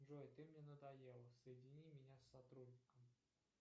джой ты мне надоела соедини меня с сотрудником